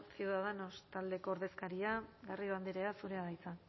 ciudadanos taldeko ordezkaria garrido andrea zurea da hitza